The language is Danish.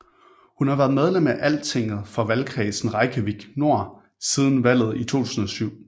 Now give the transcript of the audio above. Hun har været medlem af Altinget for valgkredsen Reykjavík Nord siden valget i 2007